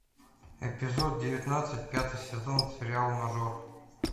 эпизод девятнадцать пятый сезон сериал мажор